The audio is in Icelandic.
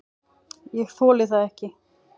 """Ég þoli það ekki,"""